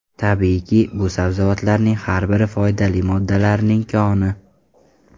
Tabiiyki, bu sabzavotlarning har biri foydali moddalarning koni.